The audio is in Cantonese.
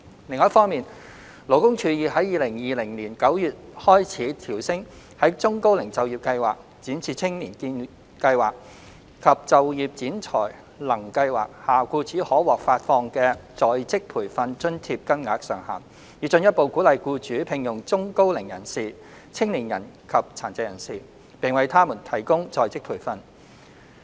另一方面，勞工處已於2020年9月開始，調升在中高齡就業計劃、展翅青見計劃及就業展才能計劃下僱主可獲發放的在職培訓津貼金額上限，以進一步鼓勵僱主聘用中高齡人士、青年人及殘疾人士，並為他們提供在職培訓。